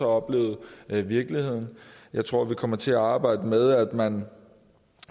oplevet virkeligheden jeg tror vi kommer til at arbejde med at man